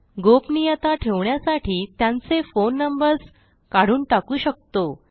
गोपनीयता ठेवण्यासाठी त्यांचे फोन नंबर्स काढून टाकू शकतो